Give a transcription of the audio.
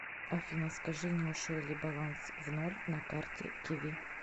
афина скажи не ушел ли баланс в ноль на карте киви